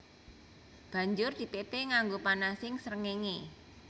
Banjur dipépé nganggo panasing srengéngé